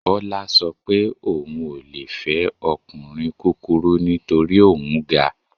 Bọ́lá sọ pé òun ò le fẹ́ ọkùnrin kúkurú nítorí òun ga